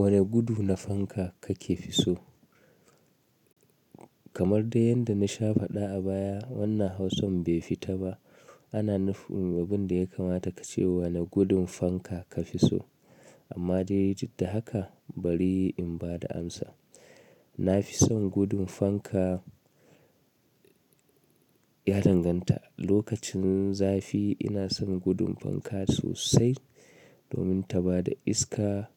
Wane gudu na fanka kake fi so? Kamar dai yadda na sha faɗa a baya, wannan hausan bai fita ba. Ana nufin abin da ya kamata ka ce, wane gudun fanka ka fi so? Amma dai duk da haka bari in bada amsa. Na fi son gudun fanka ya danganta. Lokacin zafi ina son gudun fanka sosai domin ta bada iska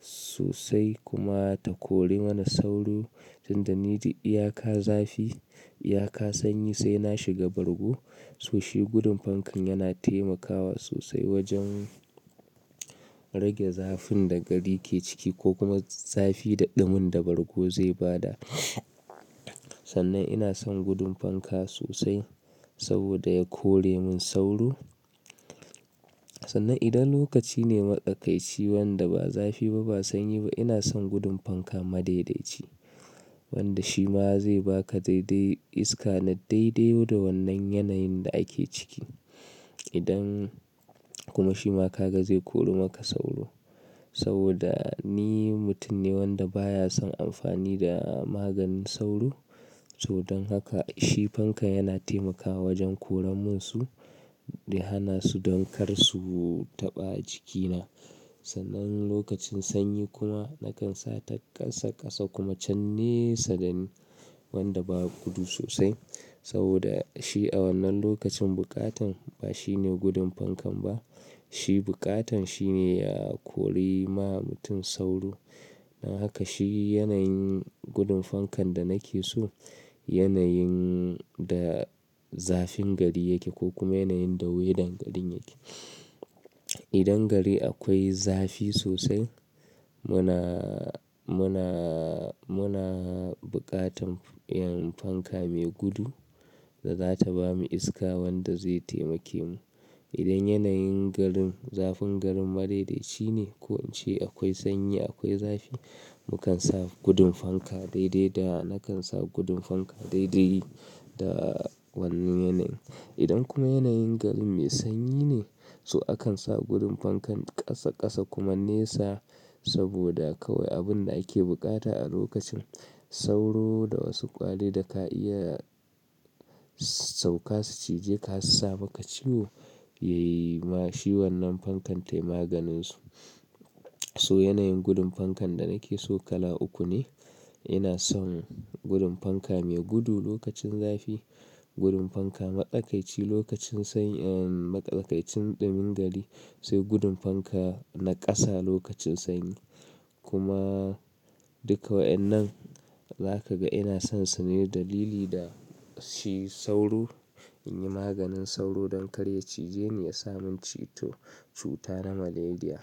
sosai kuma ta kore mana sauro. Tinda ni duk iyaka zafi, iyaka sanyi sai na shiga bargo. Sosai gudun fankan yana taimakawa sosai wajen rage zafin da gari ke ciki ko kuma zafi da ɗumin da bargo zai bada. Sannan ina son gudun fanka sosai saboda ya kore mun sauro. Sannan idan lokaci ne makaƙaici wanda ba zafi ba, ba sanyi ba ina son gudun fanka madaidaici. Wanda shi ma zai baka dai-dai iska na dai-dai da wannan yanayin da ake ciki. Idan kuma shi ma ka ga zai kori maka sauro. Saboda ni mutum ne wanda baya son amfani da maganin sauro. To don haka shi fankan yana taimakawa wajen koran munsu da hana su don kar su taɓa jikina. Sannan lokacin sanyi kuma nakan sa ta ƙasa-ƙasa kuma can ne sadani wanda ba gudu sosai. Saboda shi a wannan lokacin buƙatan ba shi ne gudun fankan ba. Shi buƙatan shi ne ya kori ma mutum sauro. Don haka shi yanayin gudun fankan da nake so yanayin da zafin gari yake ko kuma yanayin da weather garin yake. Idan gari akwai zafi sosai muna, muna, muna buƙatan irin fanka mai gudu da za ta bamu iska wanda zai taimake mu. Idan yanayin garin, zafin garin madaidaici ne ko an ce akwai sanyi, akwai zafi mukan sa gudun fanka dai-dai da nakan sa gudun fanka dai-dai da wannan yanayin. Idan kuma yanayin garin mai sanyi ne, so akan sa gudun fankan ƙasa ƙasa kuma nesa saboda kawai abin da ake buƙata a lokacin sauro da wasu kwarurruka ka iya sauka su cije ka su saka ciwo yayi ma shi wannan fankan taimaganin su. So yanayin gudun fankan da nake so kala uku ne. Ina son gudun fanka mai gudu lokacin zafi, gudun fanka matsaƙaici lokacin sanyi, ehn matsaƙaicin ɗumin gari, sai gudun fanka na ƙasa lokacin sanyi. Duk waɗannan za ka ga ina son su ne dalili da shi sauro in yi maganin sauro don kar ya cije ni ya sa mun ci to cuta na Malaria.